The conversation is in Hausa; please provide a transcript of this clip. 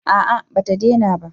A'a ba ta dena ba